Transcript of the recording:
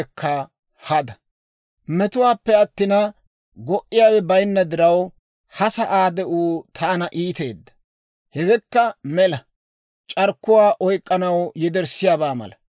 Metuwaappe attina, go"iyaawe bayinna diraw, ha sa'aa de'uu taana iiteedda. Hewekka mela; c'arkkuwaa oyk'k'anaw yederssiyaabaa mala.